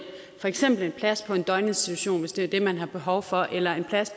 for eksempel en plads på en døgninstitution hvis det var det man havde behov for eller en plads